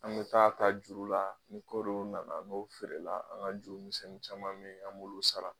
An kun bɛ t'a ta juru la, ni kɔɔri nana feere la, an ka juru mi caman min an b'olu sara.